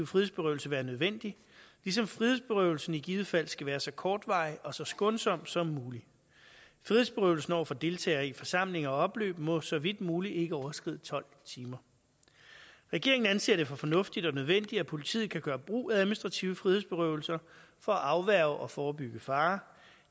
frihedsberøvelse være nødvendig ligesom frihedsberøvelsen i givet fald skal være så kortvarig og så skånsom som muligt frihedsberøvelsen over for deltagere i forsamlinger og opløb må så vidt muligt ikke overskride tolv timer regeringen anser det for fornuftigt og nødvendigt at politiet kan gøre brug af administrative frihedsberøvelser for at afværge og forebygge fare